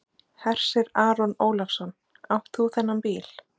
Hersir Aron Ólafsson: Átt þú þennan bíl?